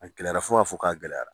A gɛlɛyara fo k'a fo k'a gɛlɛyara.